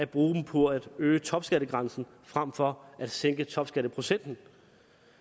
bruger dem på at øge topskattegrænsen frem for at sænke topskatteprocenten